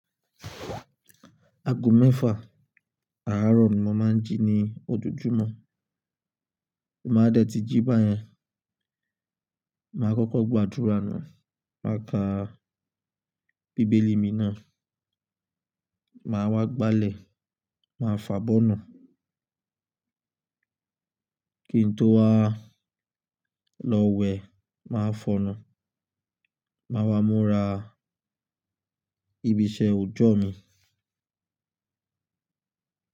Ago mẹ́fà, àárọ̀ ni mo máa ń jí ní ojojúmọ́. Bí mo bá dẹ̀ tí jí báyẹn, màá kọ́kọ́ gbàdúrà náà, màá ka bíbélì mi náà, màá wá gbálẹ̀, màá fàbọ́nà. Kí n tó wá lọ wẹ̀, màá fọnu, màá wá múra, ìbíṣẹ ọjọ́ mi.